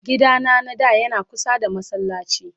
gida na na da Yana kusa da masallaci.